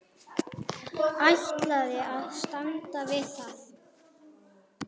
Ætlaði að standa við það.